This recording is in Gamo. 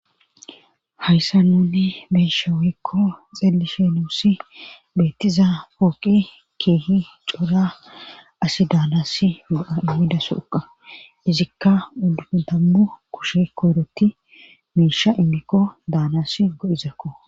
hayssa nunni beesha woykko xeellishe nuussi beettiza pooqi keehi cora asi daanass go7a uhidaso uqa izikka uu dammu kushe koyroti meisha immikko daanas go7izakko